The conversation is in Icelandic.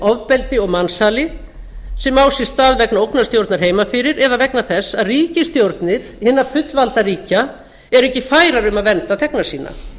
ofbeldi og mansali sem á sér stað vegna ógnarstjórnar heima fyrir eða vegna þess að ríkisstjórnir hinna fullvalda ríkja eru ekki færar um að vernda þegna sína